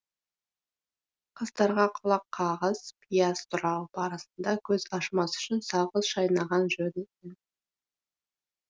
қыздарға құлаққағыс пияз турау барысында көз ашымас үшін сағыз шайнаған жөн